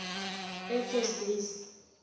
air force base